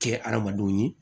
Kɛ adamadenw ye